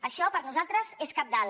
això per nosaltres és cabdal